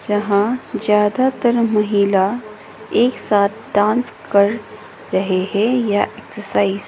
जहां ज्यादातर महिला एक साथ डांस कर रहे हैं या एक्सरसाइज ।